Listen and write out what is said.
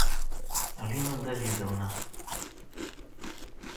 алина давидовна